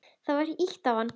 Það var ýtt á hann.